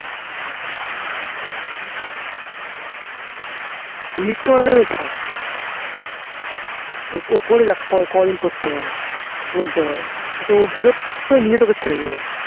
মিথ্যাবাদী থাক ও করে যাক কদিন করতে পারে বলতে পারে. আচ্ছা ও বিরক্ত হয়ে নিজে তোকে ছেড়ে দেবে